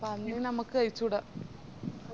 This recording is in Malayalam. പന്നി നമുക്ക് കൈചൂടാ